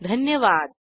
सहभागासाठी धन्यवाद